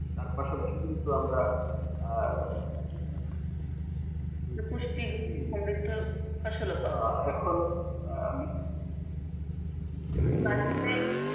তার পাশাপাশি কিন্তু আমরা আহ পুষ্টিগুণ সমৃদ্ধ ফসলও পাওয়া আসলে